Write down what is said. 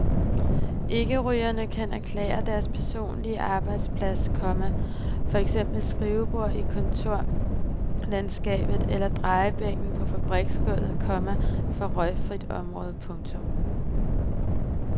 Ikkerygerne kan erklære deres personlige arbejdsplads, komma for eksempel skrivebordet i kontorlandskabet eller drejebænken på fabriksgulvet, komma for røgfrit område. punktum